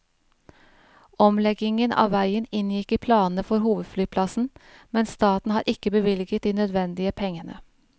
Omleggingen av veien inngikk i planene for hovedflyplassen, men staten har ikke bevilget de nødvendige pengene.